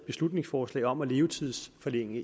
beslutningsforslag om at levetidsforlænge